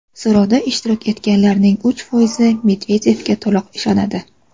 So‘rovda ishtirok etganlarning uch foizi Medvedevga to‘liq ishonadi.